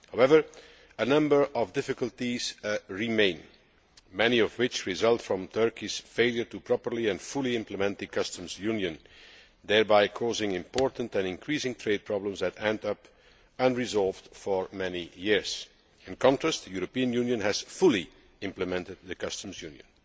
However, a number of difficulties remain, many of which result from Turkey's failure to properly and fully implement the customs union, thereby causing major and increasing trade problems which have remained unresolved for many years. In contrast, the European Union has fully implemented the customs union.